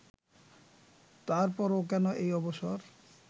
তারপরও কেন এই অবসর